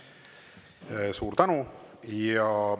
Suur tänu!